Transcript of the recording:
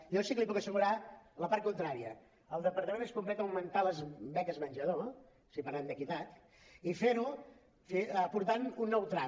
jo sí que li puc assegurar la part contrària el departament es compromet a augmentar les beques menjador si parlem d’equitat i fer ho aportant un nou tram